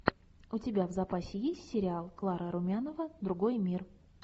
у тебя в запасе есть сериал клара румянова другой мир